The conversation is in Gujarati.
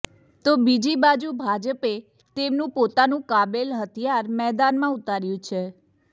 તો બીજી બાજુ ભાજપે તેમનું પોતાનું કાબેલ હથિયાર મેદાનમાં ઉતાર્યું છે